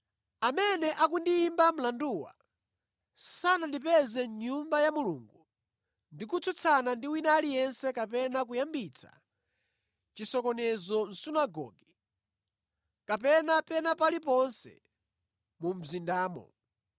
Amene akundiyimba mlanduwa sanandipeze mʼNyumba ya Mulungu ndi kutsutsana ndi wina aliyense kapena kuyambitsa chisokonezo mʼsunagoge kapena pena paliponse mu mzindamo.